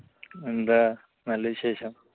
എന്താ? നല്ല വിശേഷം.